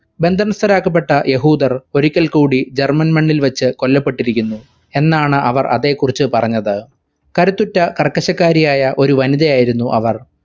ബന്ധനസ്‌ഥരാക്കപ്പെട്ട യഹൂദർ ഒരിക്കൽക്കൂടി german മണ്ണിൽ വെച്ച് കൊല്ലപ്പെട്ടിരിക്കുന്നു എന്നാണ് അവർ അതേകുറിച്‌ പറഞ്ഞത്. കരുത്തുറ്റ കർക്കശക്കാരിയായ ഒരു വനിതയായിരുന്നു അവർ.